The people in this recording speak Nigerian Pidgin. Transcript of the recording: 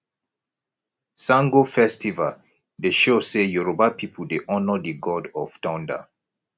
sango festival dey show sey yoruba pipu dey honour di god of thunder